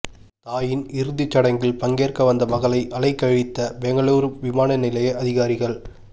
தாயின் இறுதிச் சடங்கில் பங்கேற்க வந்த மகளை அலைகழித்த பெங்களூரு விமான நிலைய அதிகாரிகள்